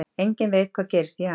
Enginn veit hvað gerist í janúar